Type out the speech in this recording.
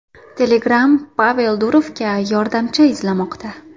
Telegram Pavel Durovga yordamchi izlamoqda.